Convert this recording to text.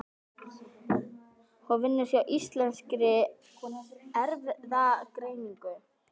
Hún vinnur hjá Íslenskri erfðagreiningu.